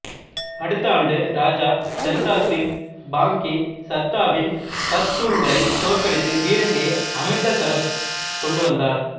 அடுத்த ஆண்டு ராஜா ஜந்தா சிங் பாங்கி சத்தாவின் பஷ்தூன்களை தோற்கடித்து பீரங்கியை அமிருதசரசு கொண்டு வந்தார்